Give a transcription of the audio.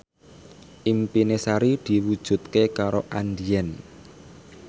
impine Sari diwujudke karo Andien